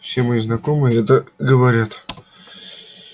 все мои знакомые это говорят